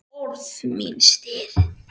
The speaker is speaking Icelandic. Orð mín stirð.